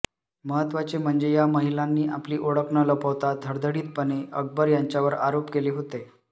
महत्त्वाचे म्हणजे या महिलांनी आपली ओळख न लपवता धडधडीतपणे अकबर यांच्यावर आरोप केले होते